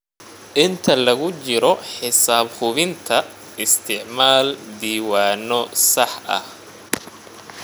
Inta lagu jiro xisaab hubinta, isticmaal diiwaanno sax ah.